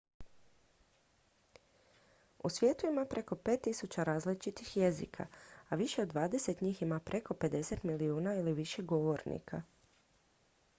u svijetu ima preko 5000 različitih jezika a više od dvadeset njih ima preko 50 milijuna ili više govornika